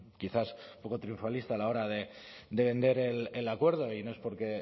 quizás un poco triunfalista a la hora de vender el acuerdo y no es porque